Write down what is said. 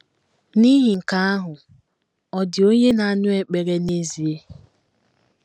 N’ihi nke ahụ, ọ̀ dị onye na - anụ ekpere n’ezie?